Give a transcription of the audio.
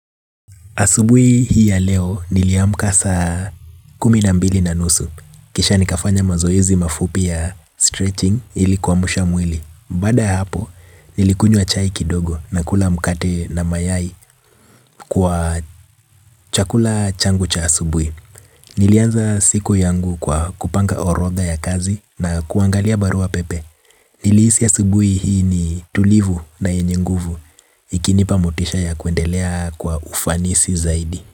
Asubui hii ya leo niliamka sa kumi nambili na nusu. Kisha nikafanya mazoezi mafupi ya stretching ilikuwamusha mwili. Bada hapo nilikunywa chai kidogo na kula mukate na mayai kwa chakula changu cha asubui. Nilianza siku yangu kwa kupanga oroda ya kazi na kuangalia barua pepe. Niliisi asubui hii ni tulivu na enye nguvu. Ikinipa motisha ya kuendelea kwa ufanisi zaidi.